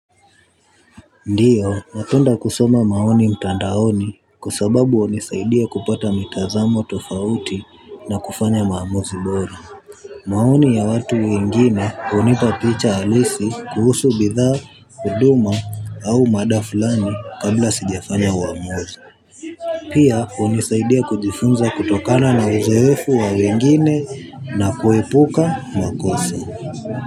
Ndiyo, napenda kusoma maoni mtandaoni kwa sababu hunisaidia kupata mitazamo tofauti na kufanya maamuzi bora. Maoni ya watu wengine hunipa picha halisi kuhusu bidhaa, huduma au mada fulani kabla sijafanya uamuzi. Pia, hunisaidia kujifunza kutokana na uzoefu wa wengine na kuepuka makosa.